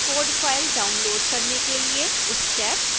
कोड़ file download करने के लिए स्टेप्स